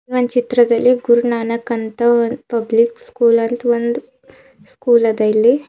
ಒಂದ್ ಚಿತ್ರದಲ್ಲಿ ಗುರುನಾನಕ್ ಅಂತ ಒಂದ್ ಪಬ್ಲಿಕ್ ಸ್ಕೂಲ್ ಅಂತ್ ಒಂದ್ ಸ್ಕೂಲ್ ಅದ ಇಲ್ಲಿ.